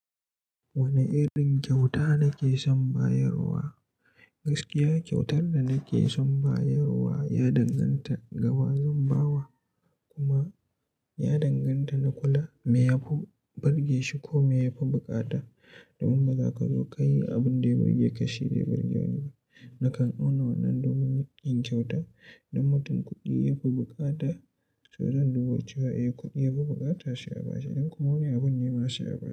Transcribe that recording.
Wane irin kyauta nake son bayarwa? Gaskiya kyautar da nake son bayarwa ya danganta gaba zan ba wa kuma ya danganta na kula me ya fi burge shi ko me ya fi bukata domin baza ka zo ka yi abin da ya burge ka shi dai burge wani ba. Nakan auna wannan domin yin kyauta idan mutum kuɗi ya fi bukata, to zan duba cewa eh kuɗi ya fi bukata shi a ba shi idan kuma wani abun nema shi a baya.